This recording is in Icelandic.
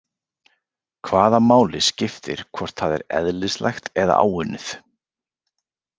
Hvaða máli skiptir hvort það er eðlislægt eða áunnið?